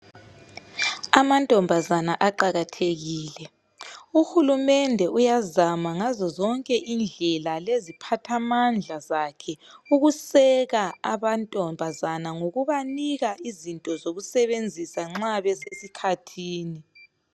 Amantombazana aqakathekile , uhulumende uyazama ngazo zonke indlela .Leziphathamandla zakhe ukuseka abantombazana ngokubanika izinto zokusebenzisa nxa besesikhathini.